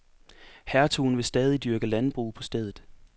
Hertugen vil stadig dyrke landbrug på stedet.